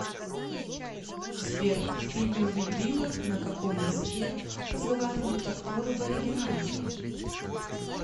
сбер в фильме убить билла на каком языке разговаривают актеры в оригинале